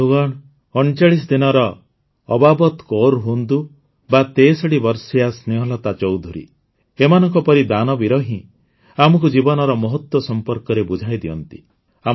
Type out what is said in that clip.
ବନ୍ଧୁଗଣ ୩୯ ଦିନର ଅବାବତ୍ କୌର ହୁଅନ୍ତୁ ବା ୬୩ ବର୍ଷୀୟା ସ୍ନେହଲତା ଚୌଧୁରୀ ଏମାନଙ୍କ ପରି ଦାନବୀର ହିଁ ଆମକୁ ଜୀବନର ମହତ୍ୱ ସମ୍ପର୍କରେ ବୁଝାଇଦିଅନ୍ତି